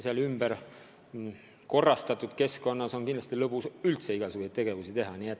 Selles korda tehtud keskkonnas on kindlasti lõbus üldse igasuguseid ettevõtmisi läbi viia.